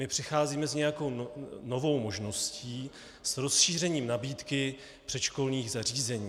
My přicházíme s nějakou novou možností, s rozšířením nabídky předškolních zařízení.